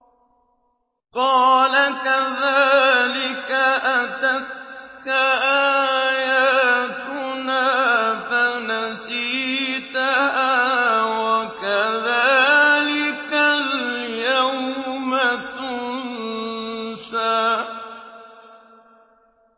قَالَ كَذَٰلِكَ أَتَتْكَ آيَاتُنَا فَنَسِيتَهَا ۖ وَكَذَٰلِكَ الْيَوْمَ تُنسَىٰ